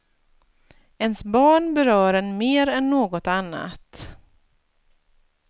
Ens barn berör en mer än något annat.